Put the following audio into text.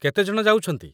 କେତେ ଜଣ ଯାଉଛନ୍ତି?